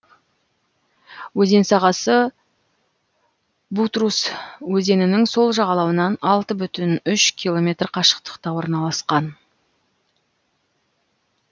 өзен сағасы бутрус өзенінің сол жағалауынан алты бүтін үш километр қашықтықта орналасқан